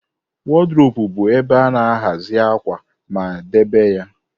A wardropu bu ebe ana-ahazi akwa akwa ma debe ya.